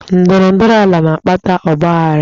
Ndọrọ ndọrọ ala na-akpata ọgbaaghara.